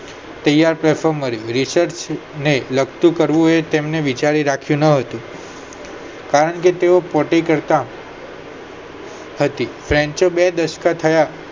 તૈયાર platform મળે છે research ને લગતું કરવું એ તેમને વિચારી રાખ્યું ના હોય કારણ કે તેઓ પોતે કરતા હતી બે સાશક થય